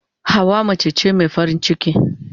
Hauwa mace ce mai farin ciki.